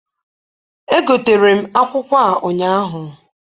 Egotere m akwụkwọ a ụnyaahụ.